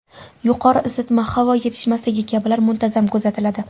Yuqori isitma, havo yetishmasligi kabilar muntazam kuzatiladi.